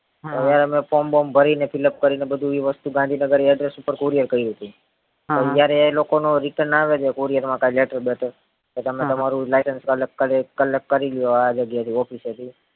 હવે હવે form બોરમ ભરીને fill up કરીને બધું વસ્તુ ગાંધીનગર address ઉપર courier કયરી હતી અત્યારે ઈ લોકો નો return આવે જે courier એમાં કઈ letter બેટર તો તમે તમારું license અલગ ખાલી એક અલગ કરી લ્યો આ જગ્યા એ થી office એ થી